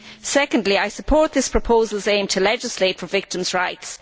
Secondly, I support this proposal's aim to legislate for victims' rights.